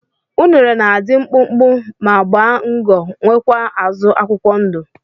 unere na adi mkpụkpụ ma gba ngo nwekwa azu akwukwọ ndu